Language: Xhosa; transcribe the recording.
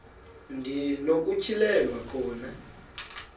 ndi nokutyhilelwa khona